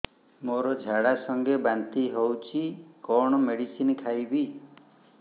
ମୋର ଝାଡା ସଂଗେ ବାନ୍ତି ହଉଚି କଣ ମେଡିସିନ ଖାଇବି